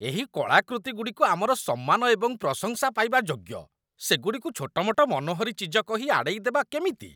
ଏହି କଳାକୃତିଗୁଡ଼ିକ ଆମର ସମ୍ମାନ ଏବଂ ପ୍ରଶଂସା ପାଇବା ଯୋଗ୍ୟ, ସେଗୁଡ଼ିକୁ ଛୋଟ ମୋଟ ମନୋହରୀ ଚିଜ କହି ଆଡ଼େଇ ଦେବା କେମିତି?